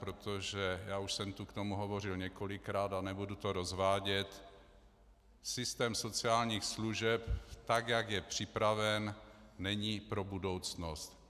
Protože - já už jsem tu k tomu hovořil několikrát a nebudu to rozvádět - systém sociálních služeb, tak jak je připraven, není pro budoucnost.